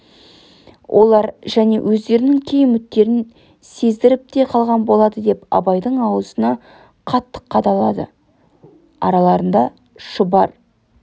олар және өздерінің кей үміттерін сездіріп те қалғаны болады деп абайдың аузына қатты қадалады араларында шұбар